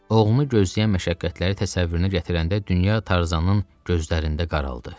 Oğlunu gözləyən məşəqqətləri təsəvvürünə gətirəndə dünya Tarzanın gözlərində qaraldı.